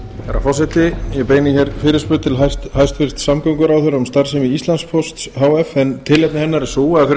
herra forseti ég beini fyrirspurn til hæstvirts samgönguráðherra um starfsemi íslandspósts h f en tilefni hennar er það að fyrir